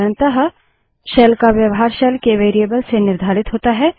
साधारणतः शेल का व्यवहार शेल के वेरिएबल्स से निर्धारित होता है